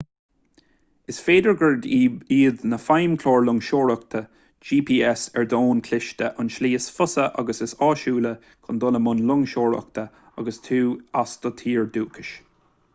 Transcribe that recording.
is féidir gurb iad na feidhmchláir loingseoireacht gps ar d'fhón cliste an tslí is fusa agus is áisiúla chun dul i mbun loingseoireachta agus tú as do thír dhúchais